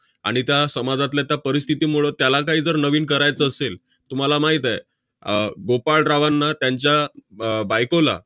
आणि त्या समाजातल्या परिस्थितीमुळं त्याला काही जर नवीन करायचं असेल, तुम्हाला माहित आहे, आह गोपाळरावांना त्यांच्या अह बायकोला